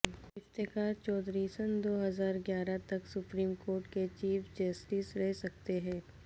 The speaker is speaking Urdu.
افتخار چوہدری سن دو ہزار گیارہ تک سپریم کورٹ کے چیف جسٹس رہ سکتے ہیں